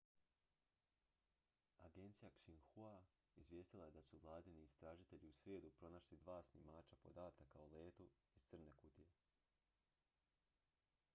agencija xinhua izvijestila je da su vladini istražitelji u srijedu pronašli dva snimača podataka o letu iz crne kutije